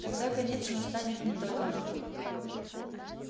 тогда конец настанет не только нам